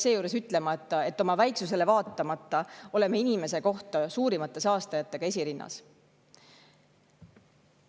" Seejuures jäetakse ütlemata, et oma väiksusele vaatamata oleme saastamises inimese kohta suurimate saastajatena esirinnas.